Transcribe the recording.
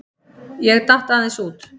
Ég datt aðeins út.